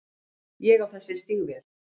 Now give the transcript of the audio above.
Ég á þessi stígvél.